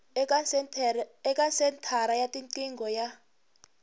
eka senthara ya tiqingho ya